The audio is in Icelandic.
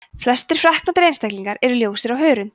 flestir freknóttir einstaklingar eru ljósir á hörund